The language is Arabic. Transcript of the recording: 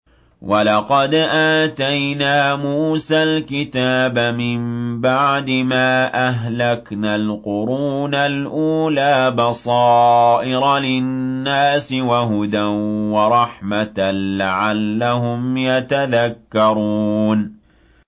وَلَقَدْ آتَيْنَا مُوسَى الْكِتَابَ مِن بَعْدِ مَا أَهْلَكْنَا الْقُرُونَ الْأُولَىٰ بَصَائِرَ لِلنَّاسِ وَهُدًى وَرَحْمَةً لَّعَلَّهُمْ يَتَذَكَّرُونَ